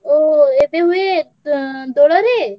ଓହୋ, ଏବେ ହୁଏ ଏଁ ଦୋଳରେ?